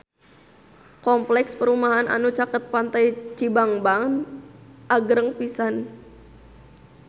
Kompleks perumahan anu caket Pantai Cibangban agreng pisan